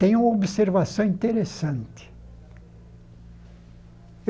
Tenho observação interessante.